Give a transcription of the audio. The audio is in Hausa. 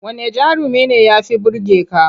Wanne jarumi ne ya fi burge ka?